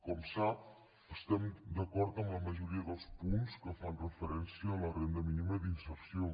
com sap estem d’acord en la majoria dels punts que fan referència a la renda mínima d’inserció